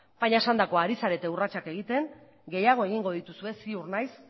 baina esandakoa ari zarete urratsak egiten gehiago egingo dituzue ziur naiz